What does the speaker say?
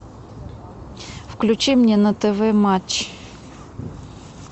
включи мне на тв матч